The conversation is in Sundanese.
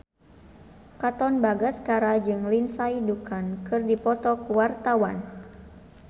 Katon Bagaskara jeung Lindsay Ducan keur dipoto ku wartawan